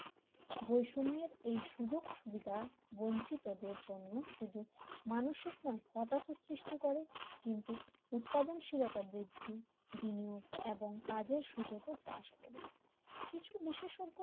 বৈষম্যের এই সুযোগ-সুবিধা বঞ্চিত দের জন্য শুধু মানসিক সময় হতাশা সৃষ্টি করে কিন্তু উৎপাদনশীলতা বৃদ্ধি দিনেও এবং কাজের সুযোগ ও রাস করে কিছু বিশেষজ্ঞ